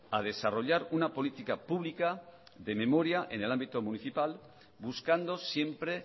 a desarrollar una política pública de memoria en el ámbito municipal buscando siempre